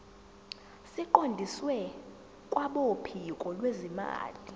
siqondiswe kwabophiko lwezimali